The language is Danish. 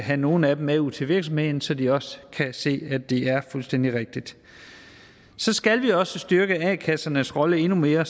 have nogle af dem med ud til virksomheden så de også kan se at det er fuldstændig rigtigt så skal vi også styrke a kassernes rolle endnu mere